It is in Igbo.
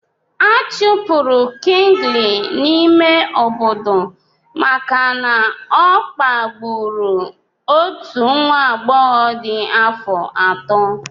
Achụpụrụ Kingley n'ime obodo maka na ọ kpagburu otu nwa agbọghọ dị afọ ato.